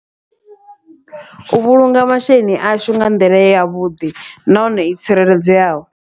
U vhulunga masheleni ashu nga nḓila yavhuḓi, nahone i tsireledzeaho.